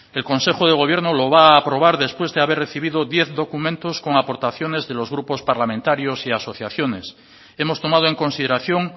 el consejo de gobierno lo va a aprobar después de haber recibido diez documentos con aportaciones de los grupos parlamentarios y asociaciones hemos tomado en consideración